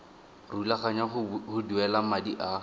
rulaganya go duela madi a